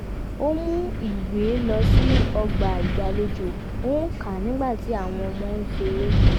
ó mú ìwé lọ sí ọgbà ìgbàlejò ó ń kà á nígbà tí àwọn ọmọ ń ṣeré